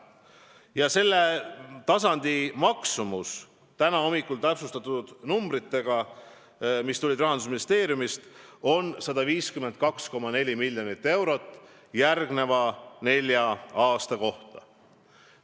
Ja täna hommikul me saime Rahandusministeeriumist täpsustatud arvud praeguse taseme kohta: see summa on 152,4 miljonit eurot järgmise nelja aasta kohta.